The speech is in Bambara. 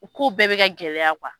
U ku bɛɛ bɛ ka gɛlɛya